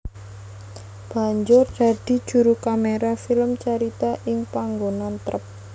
Banjur dadi juru kaméra film carita ing panggonan trep